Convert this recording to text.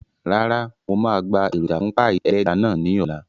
Rárá, mo máa gba èròjà fún páì ẹlẹ́ja náà ní ọ̀la